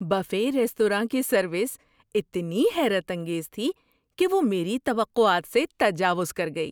Buffet restaurant کی service اتنی حیرت انگیز تھی کہ وہ میری توقعات سے تجاوز کر گئی!